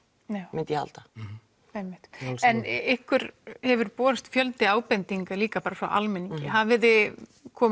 myndi ég halda einmitt en ykkur hefur borist fjöldi ábendinga líka frá almenningi hafið þið komið